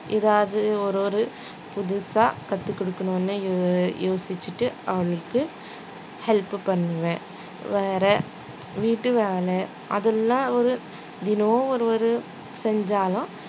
ஏதாவது ஒரு ஒரு புதுசா கத்து கொடுக்கணும்னு யோ~ யோசிச்சிட்டு அவளுக்கு help பண்ணுவேன் வேற வீட்டு வேலை அதெல்லாம் ஒரு தினம் ஒரு ஒரு செஞ்சாலும்